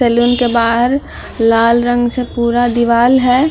Salon के बाहर लाल रंग से पूरा दीवार है।